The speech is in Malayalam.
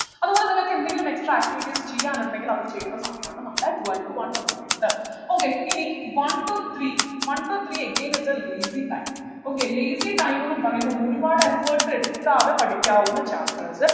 അതുപോലെ നിങ്ങൾക്ക് എന്തെങ്കിലും extra activities ചെയ്യാനുണ്ടെങ്കിൽ അത് ചെയ്യേണ്ട സമയാണ് നമ്മളെ twelve to one എന്ന് പറയുന്നത് okay ഇനി one to three one to three again is a lazy time okay lazy time ന്നു പറയുമ്പോ ഒരുപാട് efforts എടുക്കാതെ പഠിക്കാവുന്ന chapters